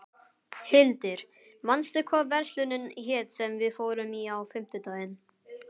Hildir, manstu hvað verslunin hét sem við fórum í á fimmtudaginn?